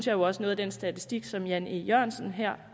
jo også noget af den statistik som herre jan e jørgensen her